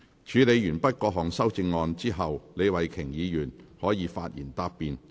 處理完畢各項修正案後，李慧琼議員可發言答辯。